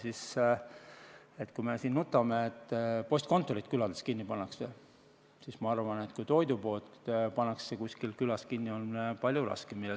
Nii et kui me siin nutame, et postkontorid pannakse külades kinni, siis ma arvan, et toidupoe kinnipanek kuskil külas on palju raskem.